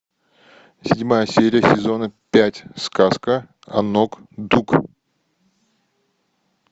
седьмая серия сезона пять сказка о нок ду